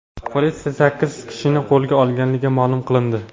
Politsiya sakkiz kishini qo‘lga olganligi ma’lum qilindi.